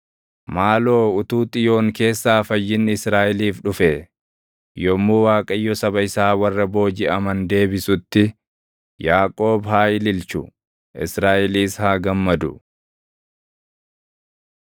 Maaloo utuu Xiyoon keessaa fayyinni Israaʼeliif dhufee! Yommuu Waaqayyo saba isaa warra boojiʼaman deebisutti, Yaaqoob haa ililchu; Israaʼelis haa gammadu!